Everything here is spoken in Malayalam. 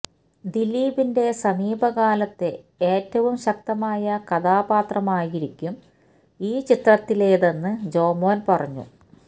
ദിലീപിന്റെ സമീപകാലത്തെ ഏറ്റവും ശക്തമായ കഥാപാത്രമായിരിക്കും ഈ ചിത്രത്തിലേതെന്ന് ജോമോന് പറഞ്ഞു